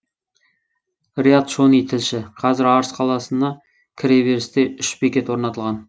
риат шони тілші қазір арыс қаласына кіре берісте үш бекет орнатылған